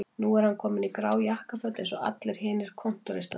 Núna er hann kominn í grá jakkaföt eins og allir hinir kontóristarnir